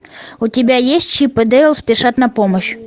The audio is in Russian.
у тебя есть чип и дейл спешат на помощь